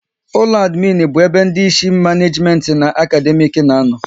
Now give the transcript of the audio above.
Ụlọ adminu bụ ebe ndị Ịsị maneejimenti na akademiiki na-ano